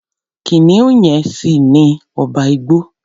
Kìnìún yẹn ṣì ni ọba igbó.